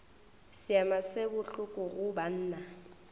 seema se bohloko go banna